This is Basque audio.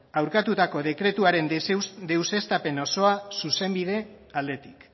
aurkatutako dekretuaren deuseztapen osoa zuzenbide aldetik